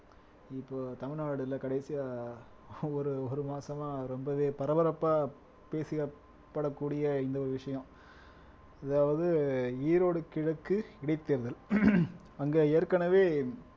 இப்போ தமிழ்நாடுல கடைசியா ஒரு ஒரு மாசமா ரொம்பவே பரபரப்பா பேசப்படக்கூடிய இந்த ஒரு விஷயம் அதாவது ஈரோடு கிழக்கு இடைத்தேர்தல் அங்க ஏற்கனவே